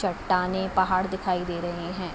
चट्टानें पहाड़ दिखाई दे रहे हैं।